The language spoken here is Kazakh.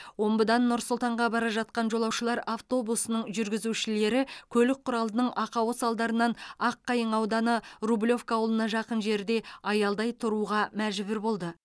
омбыдан нұр сұлтанға бара жатқан жолаушылар автобусының жүргізушілері көлік құралының ақауы салдарынан аққайың ауданы рублевка ауылына жақын жерде аялдай тұруға мәжбүр болды